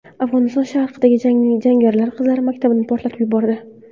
Afg‘oniston sharqida jangarilar qizlar maktabini portlatib yubordi.